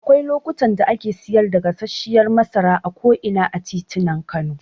Akwai lokutan da ake siyar da gasarshiyar masara a ko'ina a titunan Kano.